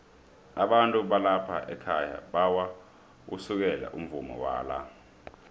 abantu balapha ekhaya bayawusekela umvumo wala